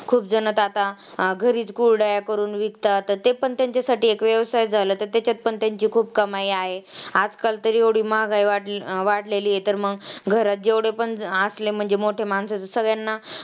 खुपजणं तर आता घरीच कुरड्या करून विकतात तर ते पण त्यांच्यासाठी एक व्यवसायच झाला. तर तेच्यात पण त्यांची खूप कमाई आहे. आजकाल तरी एवढी महागाई वाढलेली आहे तर मग घरात जेवढे पण असले म्हणजे मोठे माणसाचं सगळ्यांना